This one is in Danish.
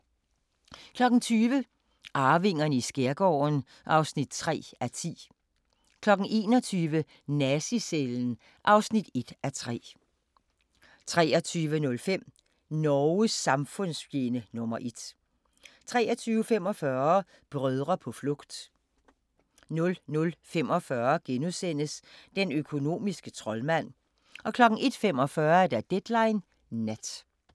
20:00: Arvingerne i skærgården (3:10) 21:00: Nazi-cellen (1:3) 23:05: Norges samfundsfjende nr. 1 23:45: Brødre på flugt 00:45: Den økonomiske troldmand * 01:45: Deadline Nat